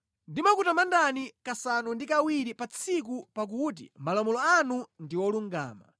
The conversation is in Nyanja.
Ndimakutamandani kasanu ndi kawiri pa tsiku pakuti malamulo anu ndi olungama.